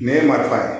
Nɛn ye marifa ye